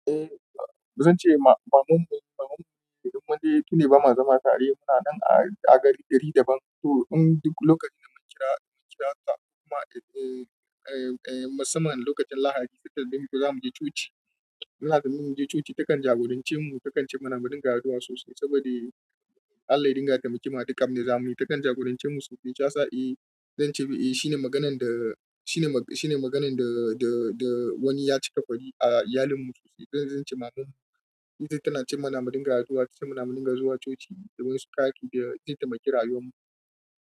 Eh, zan ce ma, mamanmu, mamanmu idan wani tuda ba ma zama tare muna nan a gari gari daban. Toh in duk lokacin da mkaji haka musamman ran Lahadi tunda za muje coci. Maza mu mu je coci takan jagorance mu, takan ci manamadin gayuwa sosai saboda Allah ya dinga taimake mu a duk abin da za muyi. Takan jagorance mu sosai. Shi ya sa, eh, zan ce, eh, shine maganan da, shine mag, shine maganan da, da, da wani ya cika kwari a iyalin mu sosai. Zan, zan ce mamanmu ita tana cin manamadin gayuwa, tana cin manamadin gazo wa coci domin su karɓi da ita ma kirayuwarmu.